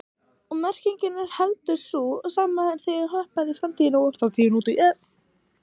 Og merkingin er heldur ekki sú sama þegar hoppað er í framtíð, þátíð og nútíð.